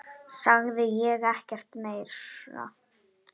Sagði ekkert meira.